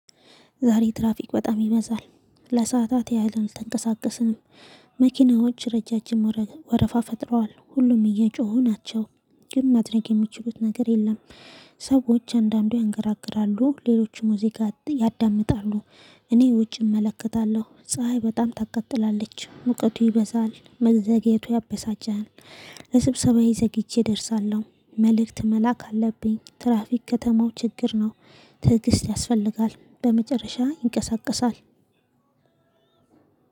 ዛሬ ትራፊክ በጣም ይበዛል ለሰአታት ያህልን አልተንቀሳቀስንም። መኪናዎች ረዣዥም ወረፋ ፈጥረዋል ሁሉም እየጮሁ ናቸው። ግን ማድረግ የሚችሉት ነገር የለም። ሰዎች አንዳንዱ ያንገራግራሉ ሌሎችም ሙዚቃ ያዳምጣሉ። እኔ ውጪ እመለከታለሁ ፀሀይ በጣም ታቀጥላለች ሙቀቱ ይበዛል መዘግየቱ ያበሳጫል። ለስብሰባዬ ዘግይቼ እደርሳለሁ መልእክት መላክ አለብኝ። ትራፊክ ከተማው ችግር ነው። ትዕግስት ያስፈልጋል በመጨረሻ ይንቀሳቀሳል።